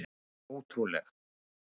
Hún er ótrúleg!